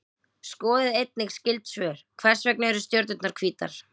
Skoðið einnig skyld svör: Hvers vegna eru stjörnurnar hvítar?